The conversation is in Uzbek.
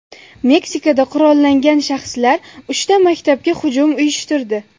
Meksikada qurollangan shaxslar uchta maktabga hujum uyushtirdi.